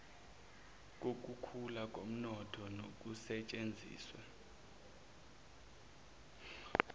kokukhula komnotho nokusetshenziswa